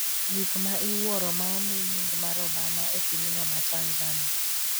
gik ma iwuoro ma omi nying mar Obama e pinyno ma Tanzania